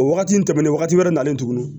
O wagati in tɛmɛnen wagati wɛrɛ nalen tuguni